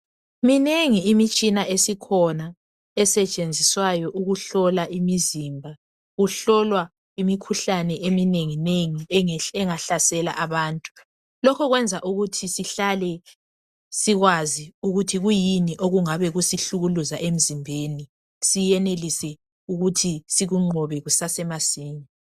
Minengi imitshina esikhona esetshenziswayo ukuhlola imizimba . Kuhlolwa imikhuhlane eminenginengi engahlasela abantu. Lokho kwenza ukuthi sihlale sikwazi ukuthi kuyini okungabe kusihlukuluza emzimbeni siyenelise ukuthi sikunqobe kusasemasinya.